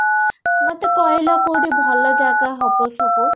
ମତେ କହିଲ କୋଉଠି ଭଲ ଜାଗା ହବ ସବୁ